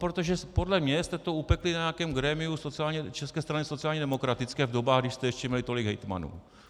Protože podle mě jste to upekli na nějakém grémiu České strany sociálně demokratické v dobách, kdy jste ještě měli tolik hejtmanů.